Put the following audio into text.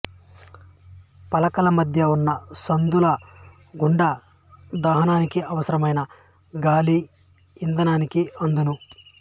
పలకల మధ్య వున్న సందుల గుండా దహనానికి అవసరమైన గాలి ఇంధనానికి అందును